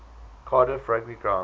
cardiff rugby ground